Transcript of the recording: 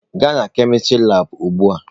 Gaa na kemistri labụ ugbu a!